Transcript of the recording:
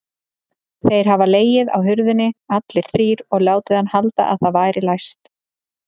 Þeir hafa legið á hurðinni allir þrír og látið hann halda að það væri læst!